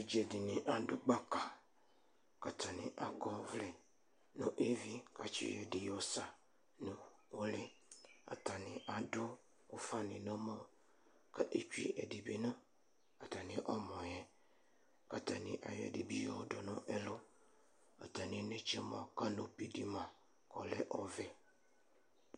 evidze dɩnɩ adu gbaka, atanɩ akɔ ɔvlɛ nʊ evi kʊ ayɔ ɛdɩ yɔwu nʊ ulɩ , atanɩ adʊ ufanɩ nʊ ɛmɔ, kʊc atanɩ adʊ ɛdɩ nʊ ɛlʊ,